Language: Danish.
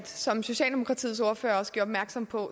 som socialdemokratiets ordfører også gjorde opmærksom på